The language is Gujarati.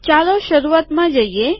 ચાલો શરૂઆતમાં જઈએ